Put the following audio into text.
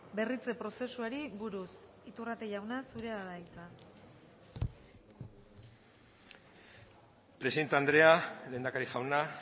berritze prozesuari buruz iturrate jauna zurea da hitza presidente andrea lehendakari jauna